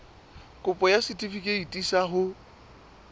kopo ya setefikeiti sa ho